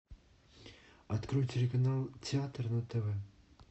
открой телеканал театр на тв